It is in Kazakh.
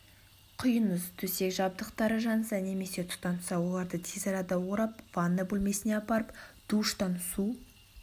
құйыңыз төсек жабдықтары жанса немесе тұтанса оларды тез арада орап ванна бөлмесіне апарып душтан су